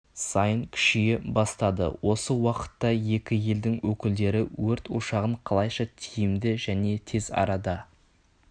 сайын күшейе бастады осы уақытта екі елдің өкілдері өрт ошағын қалайша тиімді және тез арада